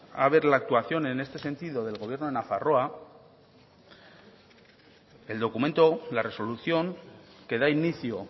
a ver la actuación en este sentido del gobierno de nafarroa el documento la resolución que da inicio